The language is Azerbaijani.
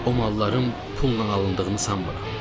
O malların pulla alındığını sanmıram.